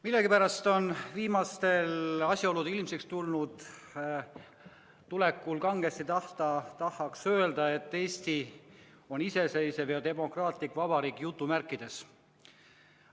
Millegipärast tahaks viimaste asjaolude ilmsiks tuleku peale kangesti öelda, et Eesti on iseseisev ja demokraatlik vabariik jutumärkides.